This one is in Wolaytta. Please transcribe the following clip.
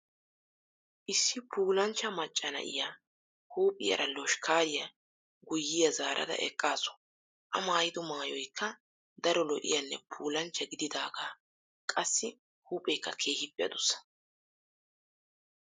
Issi puulanchcha macca na'iyaa huuphiyaara loshkkaariyaa guyyiyaa zaarada eqqaasu. A maayido maayoykka daro lo"iyaanne puulanchcha gididaagaa qassi huupheekka keehiippe adussa.